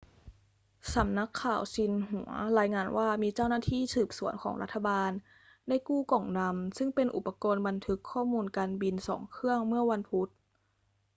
สำนักข่าวซินหัวรายงานว่ามีเจ้าหน้าที่สืบสวนของรัฐบาลได้กู้ กล่องดำ' ซึ่งเป็นอุปกรณ์บันทึกข้อมูลการบิน 2 เครื่องเมื่อวันพุธ